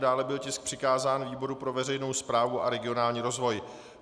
Dále byl tisk přikázán výboru pro veřejnou správu a regionální rozvoj.